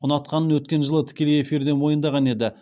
ұнатқанын өткен жылы тікелей эфирде мойындаған еді